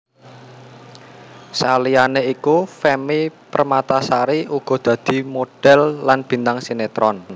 Saliyane iku Femmy Permatasari uga dadi modhél lan bintang sinetron